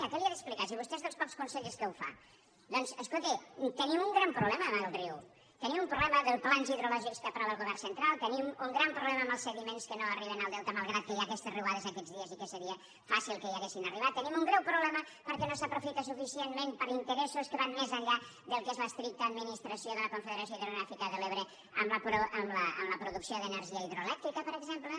què li he d’explicar si vostè és dels pocs consellers que ho fa doncs escolti tenim un gran problema amb el riu tenim un problema dels plans hidrològics que aprova el govern central tenim un gran problema amb els sediments que no arriben al delta malgrat que hi ha aquestes riuades aquests dies i que seria fàcil que hi haguessin arribat tenim un greu problema perquè no s’aprofita suficientment per interessos que van més enllà del que és l’estricta administració de la confederació hidrogràfica de l’ebre amb la producció d’energia hidroelèctrica per exemple